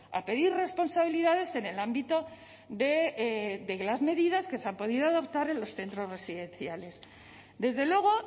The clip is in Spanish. a pedir responsabilidades en el ámbito de las medidas que se han podido adoptar en los centros residenciales desde luego